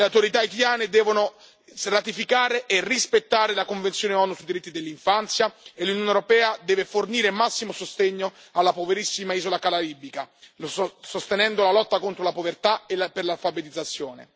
Le autorità haitiane devono ratificare e rispettare la Convenzione ONU sui diritti dell'infanzia e l'Unione europea deve fornire massimo sostegno alla poverissima isola caraibica, sostenendo la lotta contro la povertà e per l'alfabetizzazione.